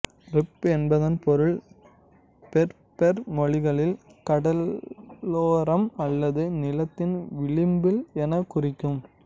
rib என்பதன் பொருள் Berber மொழிகளில் கடலோரம் அல்லது நிலத்தின் விளிம்பு என குறிக்கும்